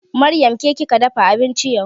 Maryam ke kika dafa abinci yau?